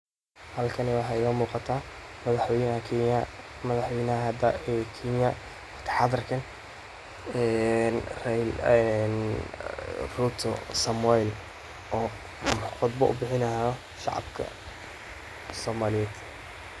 Halkani waxa igamugata madaxweynaha kenya madaxweynaha hada kenya, wagti hadarkan een ruto samuel oo khutba ubihini hayo shicibka somaliyed.